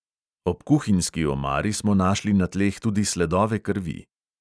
Ob kuhinjski omari smo našli na tleh tudi sledove krvi.